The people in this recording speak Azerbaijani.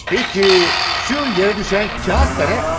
Bəs, bu yerə düşən kağız da nədir?